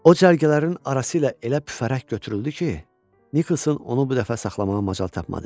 O cərgələrin arasıyla elə püfərək götürüldü ki, Niklson onu bu dəfə saxlamağa macal tapmadı.